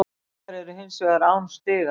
Haukar eru hins vegar án stiga